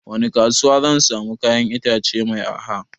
Wani kasuwa zan samu kayan itace mai arha?